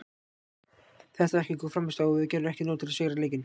Þetta var ekki góð frammistaða og við gerðum ekki nóg til að sigra leikinn.